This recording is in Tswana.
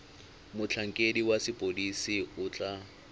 motlhankedi wa sepodisi o tla